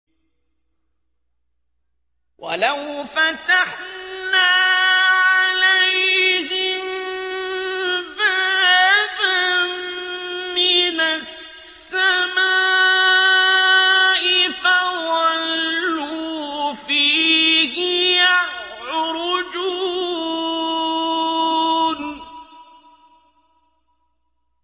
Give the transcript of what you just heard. وَلَوْ فَتَحْنَا عَلَيْهِم بَابًا مِّنَ السَّمَاءِ فَظَلُّوا فِيهِ يَعْرُجُونَ